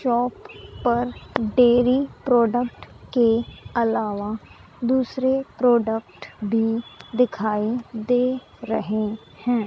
Shop पर dairy product के अलावा दूसरे प्रोडक्ट भी दिखाई दे रहे हैं।